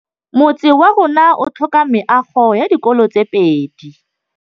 Motse warona o tlhoka meago ya dikolô tse pedi.